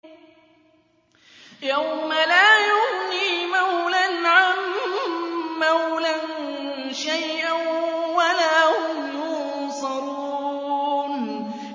يَوْمَ لَا يُغْنِي مَوْلًى عَن مَّوْلًى شَيْئًا وَلَا هُمْ يُنصَرُونَ